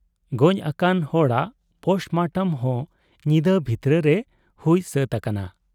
ᱜᱚᱡ ᱟᱠᱟᱱ ᱦᱚᱲᱟᱜ ᱯᱳᱥᱴᱢᱚᱴᱚᱢ ᱦᱚᱸ ᱧᱤᱫᱟᱹ ᱵᱷᱤᱛᱨᱟᱹ ᱨᱮ ᱦᱩᱭ ᱥᱟᱹᱛ ᱟᱠᱟᱱᱟ ᱾